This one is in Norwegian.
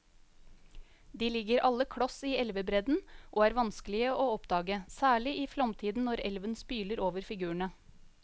De ligger alle kloss i elvebredden og er vanskelige å oppdage, særlig i flomtiden når elven spyler over figurene.